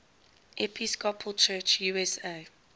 episcopal church usa